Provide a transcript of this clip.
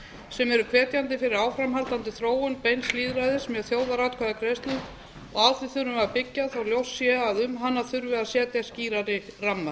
sem eru hvetjandi fyrir áframhaldandi þróun beins lýðræðis með þjóðaratkvæðagreiðslu og á því þurfum við að byggja þó ljóst sé að um hana þurfi að setja skýrari ramma